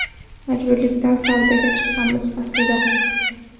Majburlikdan savdoga chiqqanmiz, aslida.